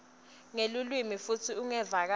nelulwimi futsi ungevakali